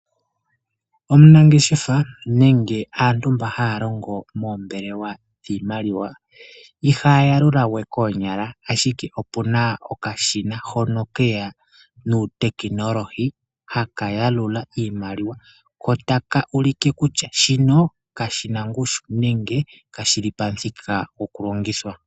Omunangeshefa nenge aantu mba haya longo moombelewa dhiimaliwa ihaya yalula we koonyala, ashike opuna okashina hono keya nuutekinolohi haka yalula iimaliwa ko taka ulike kutya shino kashina ngushu nenge kashili pamuthika goku longithwa.